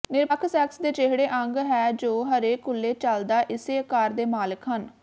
ਿਨਰਪਖ sex ਦੇ ਜਿਹੜੇ ਅੰਗ ਹੈ ਜੋ ਹਰੇ ਕੁੱਲ੍ਹੇ ਚੱਲਦਾ ਇਸੇ ਆਕਾਰ ਦੇ ਮਾਲਕ ਹਨ